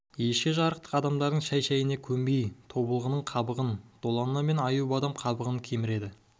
ешкі жарықтық адамдардың шәй-шәйіне көнбей тобылғының қабығын долана мен аюбадам қабығын кеміреді